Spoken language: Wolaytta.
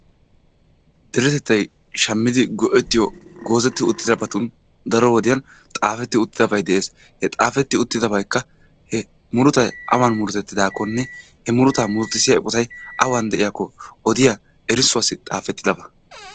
Deretettay shammidi go'ettiyo goozetti uttidabatun daro wodiyan xaafetti uttidabay de'ees. He xaafetti uttidabaykka murutay awan murutettidaakkonne he murutaa murutisiyosay awan de'yakko erissuwassi xaafettidaba.